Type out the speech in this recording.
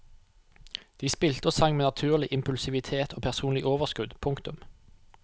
De spilte og sang med naturlig impulsivitet og personlig overskudd. punktum